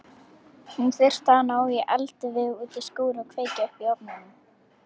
Hún þurfti að ná í eldivið út í skúr og kveikja upp í ofnunum.